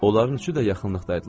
Onların üçü də yaxınlıqda idilər.